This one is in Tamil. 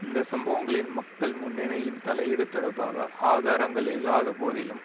இந்த சம்பவங்களில் மக்கள் முன்னணியின் தலையீடு தொடர்பாக ஆதாரங்கள் இல்லாத போதிலும்